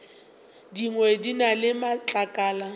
dingwe di na le matlakala